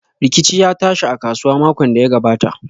Rikici ya tashi a kasuwa makon da ya gabata.